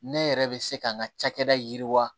Ne yɛrɛ bɛ se ka n ka cakɛda yiriwa